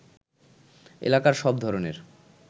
এলাকার সব ধরণের